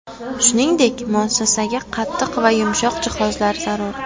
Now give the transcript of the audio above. Shuningdek, muassasaga qattiq va yumshoq jihozlar zarur.